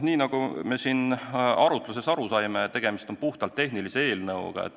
Nii nagu me arutluses aru saime, tegemist on puhtalt tehnilise eelnõuga.